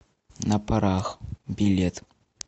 на парах билет